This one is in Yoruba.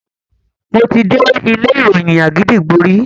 Mo ti dé ilé ìròyìn Àgídìgbo rí.